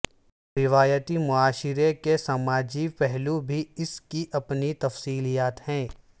روایتی معاشرے کے سماجی پہلو بھی اس کی اپنی تفصیلات ہے